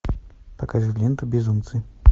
покажи ленту безумцы